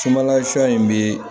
Sumanla sɔ in bɛ